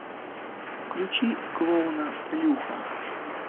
включи клоуна плюха